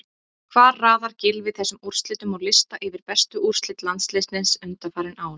Hvar raðar Gylfi þessum úrslitum á lista yfir bestu úrslit landsliðsins undanfarin ár?